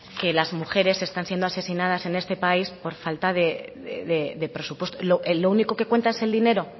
que las mujeres están siendo asesinadas en este país por falta de presupuesto lo único que cuenta es el dinero